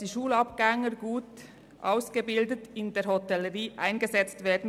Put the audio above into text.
Die Schulabgänger können als gut ausgebildete Fachkräfte in der Hotellerie eingesetzt werden.